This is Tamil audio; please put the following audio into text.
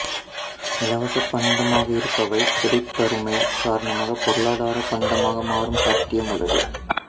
இலவசப்பண்டமாக இருப்பவை கிடைப்பருமை காரணமாக பொருளாதார பண்டமாக மாறும் சாத்தியமுள்ளது